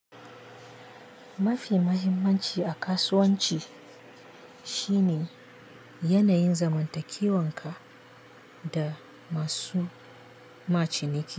Mafi mahimmanci a kasuwanci shine yanayin zamantakewanka da masu ma ciniki.